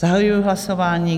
Zahajuji hlasování.